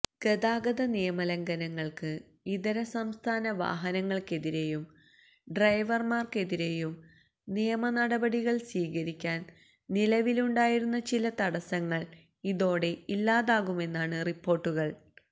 ഗതാഗത നിയമ ലംഘനങ്ങൾക്ക് ഇതരസംസ്ഥാന വാഹനങ്ങൾക്കെതിരെയും ഡ്രൈവർമാർക്കെതിരെയും നിയമനടപടികൾ സ്വീകരിക്കാൻ നിലവിലുണ്ടായിരുന്ന ചില തടസ്സങ്ങൾ ഇതോടെ ഇല്ലാതാകുമെന്നാണ് റിപ്പോര്ട്ടുകള്